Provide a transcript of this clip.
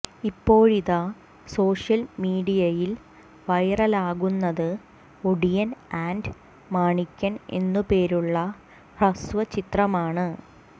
ഇപ്പോഴിത social മീഡിയയിൽ വൈറലാകുന്നത് Odiyan and Manikyan എന്നു പേരുളള ഹ്രസ്വ ചിത്രമാണ്